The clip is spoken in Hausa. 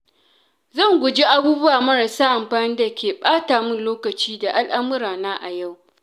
Zan guji abubuwa marasa amfani da ke ɓata min lokaci da al'amurana a yau.